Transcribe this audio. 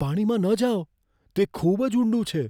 પાણીમાં ન જાવ. તે ખૂબ જ ઊંડું છે!